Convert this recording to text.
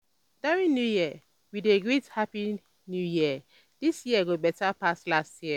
during new year we dey greet "happy "happy new year! this year go better pass last year!"